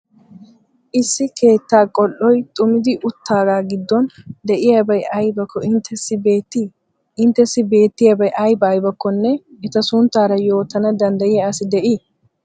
Issi keettaa qol"oy xumidi uttaagaa giddon de'iyabay aybakko inttessi beettii? Inttessi beettiyabay ayba aybakkonne eta sunttaara yootana danddayiya asi de'ii?